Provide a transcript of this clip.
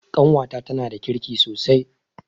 Ƙawata tanada kirki sosai